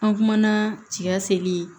An kumana cɛka seli